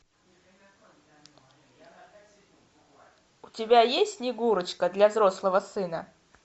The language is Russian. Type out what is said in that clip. у тебя есть снегурочка для взрослого сына